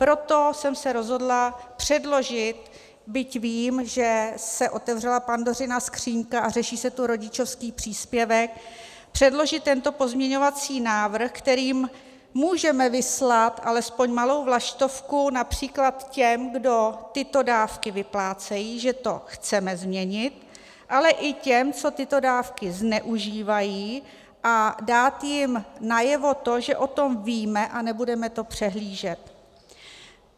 Proto jsem se rozhodla předložit, byť vím, že se otevřela Pandořina skříňka a řeší se tu rodičovský příspěvek, předložit tento pozměňovací návrh, kterým můžeme vyslat alespoň malou vlaštovku například těm, kdo tyto dávky vyplácejí, že to chceme změnit, ale i těm, co tyto dávky zneužívají, a dát jim najevo to, že o tom víme a nebudeme to přehlížet.